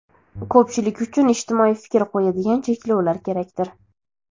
ko‘pchilik uchun ijtimoiy fikr qo‘yadigan cheklovlar kerakdir.